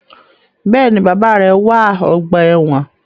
Bẹẹni, bàbá rẹ wá ọgbà ẹwọn